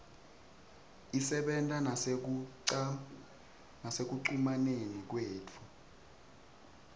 isebenta nasekucumaneni kwethu